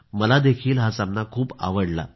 मला देखील हा सामना खूप आवडला